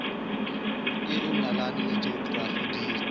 eo nalane le jokorafi di